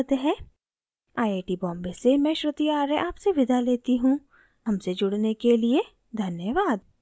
आई I Bombay से मैं श्रुति आर्य विदा लेती हूँ हमसे जुड़ने के लिए धन्यवाद